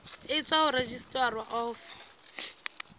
e tswang ho registrar of